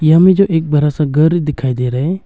यहां में जो एक बड़ा सा घर दिखाई दे रहा है।